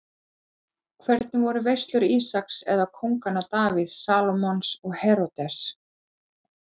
Hvernig voru veislur Ísaks eða kónganna Davíðs, Salómons og Heródesar?